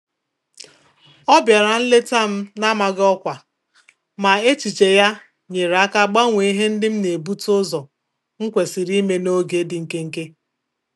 Ọ biara nleta m n'amaghị ọkwa, ma echiche ya nyere aka gbanwee ihe ndị m na-ebute ụzọ nkwesiri ime n'oge dị nkenke.